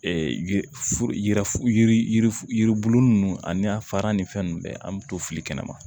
yiri f yiri yiri yiribulu nunnu ani a fara ni fɛn nunnu ye an mi to fili kɛnɛ ma